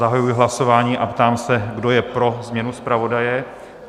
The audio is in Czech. Zahajuji hlasování a ptám se, kdo je pro změnu zpravodaje?